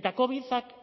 eta covidak